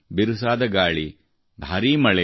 ಬಿರುಸಾದ ಗಾಳಿ ಭಾರೀ ಮಳೆ